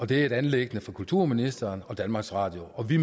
det er et anliggende for kulturministeren og danmarks radio og vi